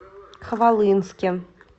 хвалынске